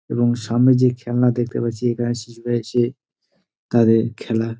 এবং সামনে যে খেলনা দেখতে পাচ্ছি এখানে শিশুরা এসে তাদের খেলা--